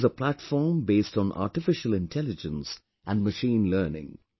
This is a platform based on artificial intelligence and machine learning